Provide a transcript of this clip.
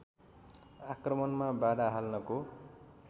आक्रमणमा बाधा हाल्नको